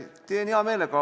Teen seda hea meelega.